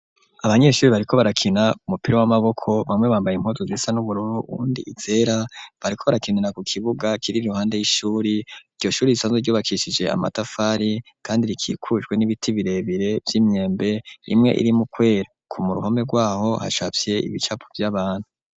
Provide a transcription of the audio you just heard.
Abanyeshure bariko barakina umupira w'amaboko bamwe bambaye impuzu zisa n'ubururu wundi izera bariko barakinana ku kibuga kiri ruhande y'ishuri iryoshuri isanzwe ryubakishije amatafari kandi rikikujwe n'ibiti birebire vy'imyembe imwe iri muquer ku muruhome rwaho hashafye ibicapo vy'abantu.